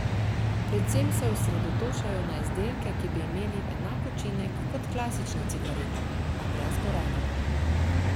Predvsem se osredotočajo na izdelke, ki bi imeli enak učinek kot klasična cigareta, a brez gorenja.